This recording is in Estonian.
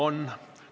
On.